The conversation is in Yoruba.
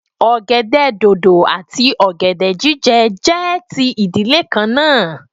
Ogèdè dòdò àti ogèdè jije jẹ́ ti ìdílé kan náà